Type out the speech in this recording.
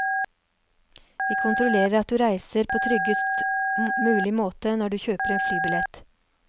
Vi kontrollerer at du reiser på tryggest mulig måte når du kjøper en flybillett.